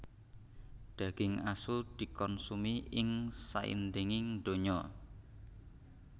Daging asu dikonsumi ing saindenging donya